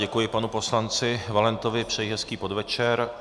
Děkuji panu poslanci Valentovi, přeji hezký podvečer.